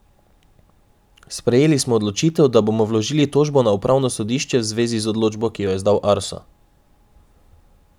Sprejeli smo odločitev, da bomo vložili tožbo na upravno sodišče v zvezi z odločbo, ki jo je izdal Arso.